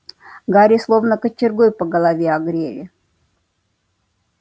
гарри словно кочергой по голове огрели